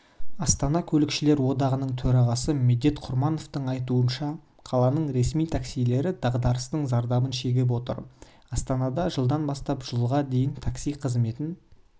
астана көлікшілер одағының төрағасы медет құрмановтың айтуынша қаланың ресми таксилері дағдарыстың зардабын шегіп отыр астанада жылдан бастап жылға дейін такси қызметін